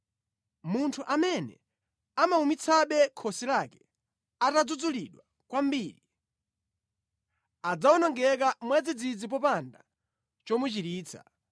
Munthu amene amawumitsabe khosi lake atadzudzulidwa kwambiri, adzawonongeka mwadzidzidzi popanda chomuchiritsa.